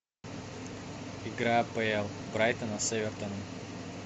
игра апл брайтона с эвертоном